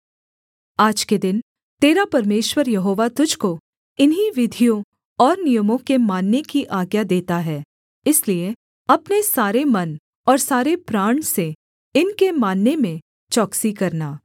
आज के दिन तेरा परमेश्वर यहोवा तुझको इन्हीं विधियों और नियमों के मानने की आज्ञा देता है इसलिए अपने सारे मन और सारे प्राण से इनके मानने में चौकसी करना